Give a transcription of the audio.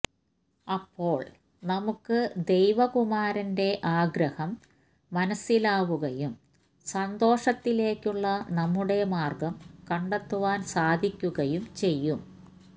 അപ്പോള് നമുക്ക് ദൈവകുമാരന്റെ ആഗ്രഹം മനസ്സിലാവുകയും സന്തോഷത്തിലേക്കുള്ള നമ്മുടെ മാര്ഗ്ഗം കണ്ടെത്തുവാന് സാധിക്കുകയും ചെയ്യും